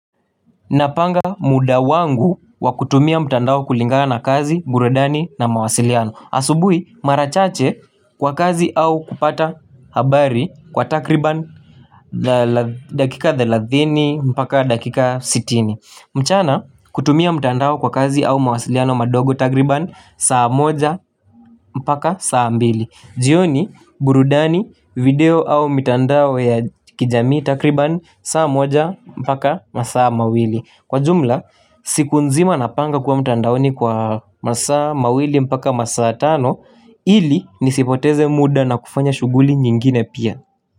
Napanga muda wangu wa kutumia mtandao kulingana na kazi, burudani na mawasiliano. Asubui marachache kwa kazi au kupata habari kwa takriban dakika thelathini mpaka dakika sitini. Mchana kutumia mtandao kwa kazi au mawasiliano madogo takriban saa moja mpaka saa mbili. Jioni burudani video au mtandao ya kijami takriban saa moja mpaka masaa mawili. Kwa jumla, siku nzima napanga kuwa mtandaoni kwa masa mawili mpaka masa tano. Ili nisipoteze muda na kufanya shuguli nyingine pia.